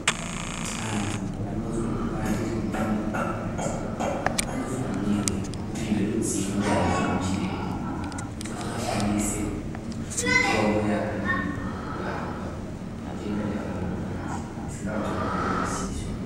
Antu anozwe kupandire nyama ngemukati vanofanirwe kupihwe ruzivo ndiana chiremba kuti angashandise mitombo yakadini kurapwa mitenda yavo yemukati isingaonekwi ngemaziso.